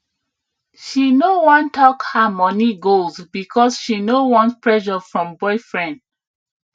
she no wan talk her money goals because she no want pressure from boyfriend